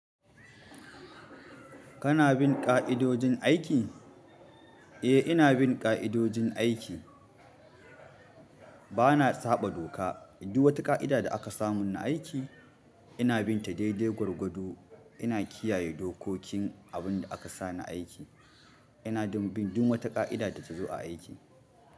Kana bin ƙa'idojin aiki? Eh, ina bin ƙa'idojin aiki. Bana saɓa doka. Du wata ƙa'ida da aka sami na aiki, ina bin ta daidai gwargwado. Ina kiyaye dokokin abin da aka sa ni aiki. Ina din, bin duk wata ƙa'ida da ta zo aiki.